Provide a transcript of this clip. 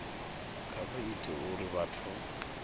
kha vha ite uri vhathu